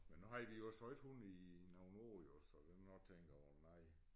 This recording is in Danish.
Men nu havde vi jo så ikke hun i nogle år jo så den har nok tænkt åh nej